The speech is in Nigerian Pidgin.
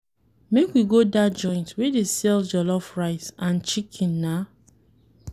Make we go dat joint wey dey sell jollof rice and chicken. na.